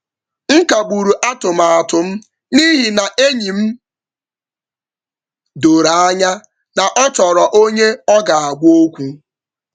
M kagburu atụmatụ m n’ihi na enyi m doro anya na ọ chọrọ onye ọ ga-agwa okwu.